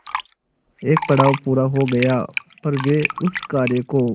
एक पड़ाव पूरा हो गया पर वे उस कार्य को